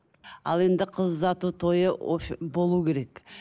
ал енді қыз ұзату тойы болу керек